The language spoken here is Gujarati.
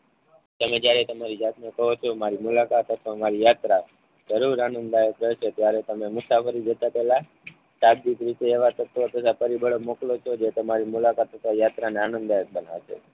તમે જયારે તમારી જાત ને પ્રવતિઓ મારી મુલાકાત અથવા મારી યાત્રા જરૂર આંદાલયક રહે છે ત્યારે તમે મુસાફરી જતા પેહલા શાબ્દિક રીતે એવા તત્વો તથા પરિબળો મોકલો છો જે તમારી મુલાકાત તથા યાત્રા ને આનંદલાયક બનાવે છે